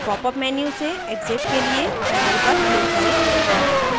popअप menu से exit के लिए panel पर click करें